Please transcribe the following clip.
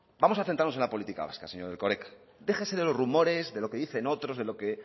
vamos a centrarnos en la política vasca señor erkoreka déjese de los rumores de lo que dicen otros de lo que